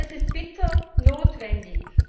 Das ist bitter notwendig!